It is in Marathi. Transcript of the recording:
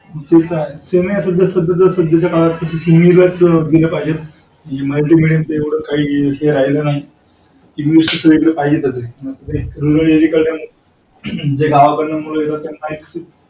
ते तर आहे. सध्याच्या काळात english च knowledge दिलं पाहिजे. मराठी मेडीयम च काही इतकं राहील नाही ये english च कारण गावाकडून मूलं येत त्यांना एक.